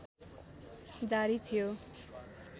जारी थियो